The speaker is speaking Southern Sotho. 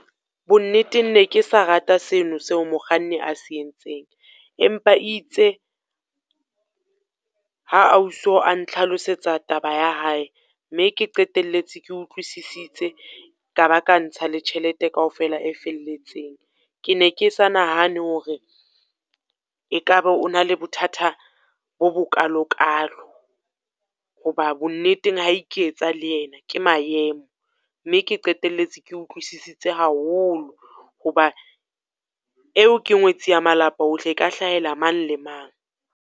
Bo nneteng ne ke sa rate seno seo mokganni a se entseng, empa itse ha ausi o a ntlhalalosetsa taba ya hae, mme ke qeteletse ke utlwisisitse, ka ba ka ntsha le tjhelete kaofela e felletseng. Ke ne ke sa nahane hore e ka ba o na le bothata bo bokalokalo, ho ba bonneteng ha a iketsa le ena ke maemo. Mme ke qeteletse ke utlwisisitse haholo ho ba eo ke ngwetsi ya malapa ohle, e ka hlahela mang le mang.